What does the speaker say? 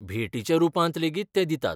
भेटीच्या रुपांत लेगीत ते दितात.